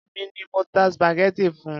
Èmi ni mo ta spaghetti fun.